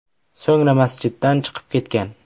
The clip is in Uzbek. So‘ngra masjiddan chiqib ketgan.